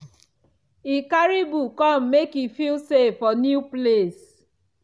e carry book come make e feel safe for new place.